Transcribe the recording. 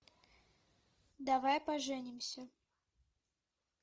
давай поженимся